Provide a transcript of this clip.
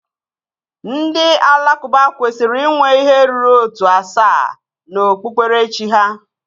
Ndị Alakụba kwesịrị inwe ihe ruru ótù asaa na okpukperechi ha